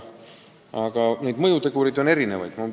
Aga mõjutegureid on erinevaid.